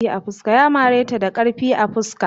Ya mare ta da karfi a fuska.